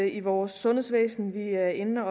i vores sundhedsvæsen vi er inde